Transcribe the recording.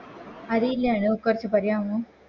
അറില്ല അനു കുറച്ച് പറയാമോ